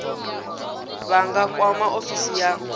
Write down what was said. vha nga kwama ofisi ya